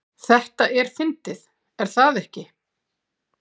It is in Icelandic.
Þetta er fyndið, er það ekki?